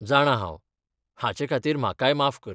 जाणां हांव ! हाचेखातीर म्हाकाय माफ कर.